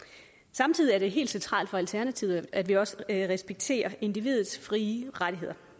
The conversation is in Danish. samtidig er det helt centralt for alternativet at vi også respekterer individets frie rettigheder